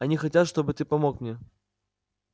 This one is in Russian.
они хотят чтобы ты помог мне